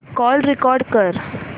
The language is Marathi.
कॉल रेकॉर्ड कर